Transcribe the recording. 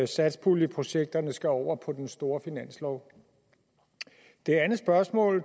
satspuljeprojekterne skal over på den store finanslov det andet spørgsmål